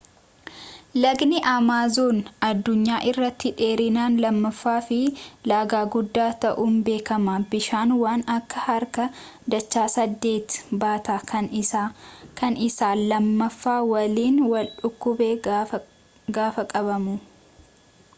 lagni amaazoon addunyaa irratti dheerinaan lammaffaa fi laga guddaa ta'uun beekama bishaan waan akka harka dacha 8 baata kan isaa lammaffaa waliin wal bukkee gaafa qabamu